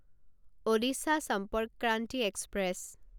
Odisha Sampark Kranti express